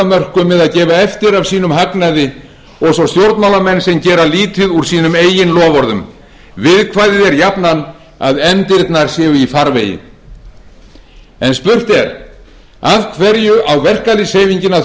af mörkum eða gefa eftir af sínum hagnaði og svo stjórnmálamenn sem gera lítið úr sínum eigin loforðum viðkvæðið er jafnan að efndirnar séu í farvegi spurt er af hverju á verkalýðshreyfingin að